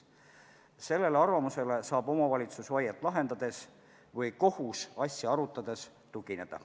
Sellele arvamusele saab omavalitsus vaiet lahendades või kohus asja arutades tugineda.